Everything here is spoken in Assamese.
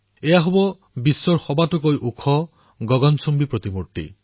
এয়া বিশ্বৰ সবাতোকৈ ওখ গগনচুম্বী প্ৰতিমা